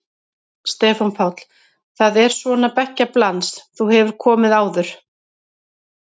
Stefán Páll: Það er svona beggja blands, þú hefur komið áður?